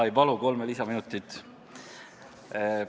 Ma ei palu kolme lisaminutit.